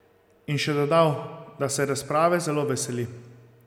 In še dodal, da se razprave zelo veseli.